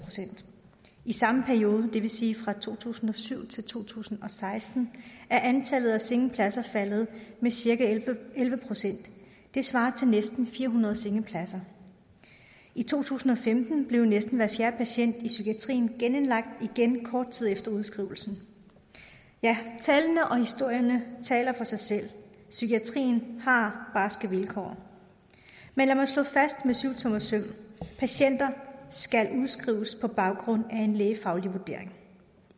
i samme periode det vil sige fra to tusind og syv til to tusind og seksten er antallet af sengepladser faldet med cirka elleve procent det svarer til næsten fire hundrede sengepladser i to tusind og femten blev næsten hver fjerde patient i psykiatrien genindlagt kort tid efter udskrivelsen ja tallene og historierne taler for sig selv psykiatrien har barske vilkår men lad mig slå fast med syvtommersøm at patienter skal udskrives på baggrund af en lægefaglig vurdering